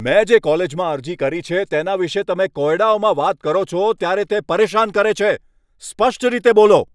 મેં જે કોલેજમાં અરજી કરી છે તેના વિશે તમે કોયડાઓમાં વાત કરો છો, ત્યારે તે પરેશાન કરે છે. સ્પષ્ટ રીતે બોલો.